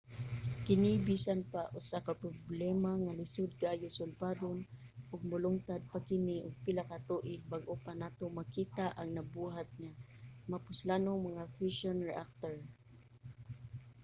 kini bisan pa usa ka problema nga lisod kaayo sulbaron ug molungtad pa kini og pila ka tuig bag-o pa nato makita ang nabuhat nga mapuslanong mga fushion reactor